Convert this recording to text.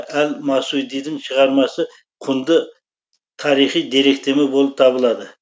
әл масудидің шығармасы құнды тарихи деректеме болып табылады